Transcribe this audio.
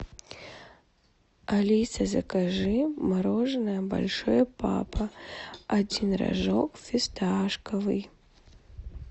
алиса закажи мороженое большой папа один рожок фисташковый